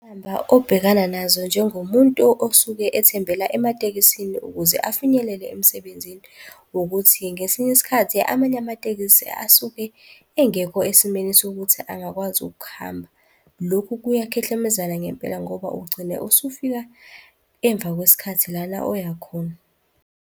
obhekana nazo njengomuntu osuke ethembela ematekisini ukuze afinyelele emsebenzini, ukuthi ngesinye isikhathi amanye amatekisi asuke engekho esimeni sokuthi angakwazi ukuhamba. Lokhu kuyakhehlemezana ngempela ngoba ugcine usufika emva kwesikhathi lana oyakhona.